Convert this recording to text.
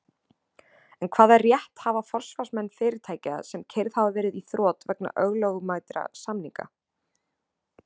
En hvaða rétt hafa forsvarsmenn fyrirtækja sem keyrð hafa verið í þrot vegna ólögmætra samninga?